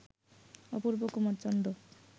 Apurba Kumar Chanda